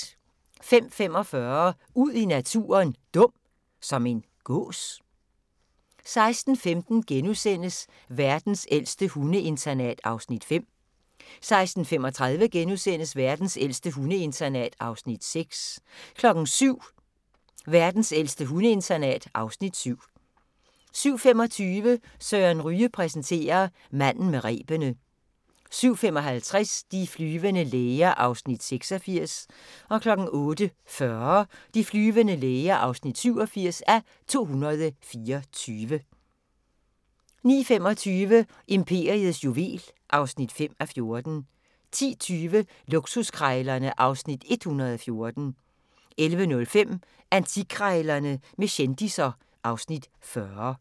05:45: Ud i naturen: Dum – som en gås? 06:15: Verdens ældste hundeinternat (Afs. 5)* 06:35: Verdens ældste hundeinternat (Afs. 6)* 07:00: Verdens ældste hundeinternat (Afs. 7) 07:25: Søren Ryge præsenterer: Manden med rebene 07:55: De flyvende læger (86:224) 08:40: De flyvende læger (87:224) 09:25: Imperiets juvel (5:14) 10:20: Luksuskrejlerne (Afs. 114) 11:05: Antikkrejlerne med kendisser (Afs. 40)